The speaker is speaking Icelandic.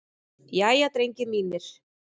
Jæja, drengir mínir!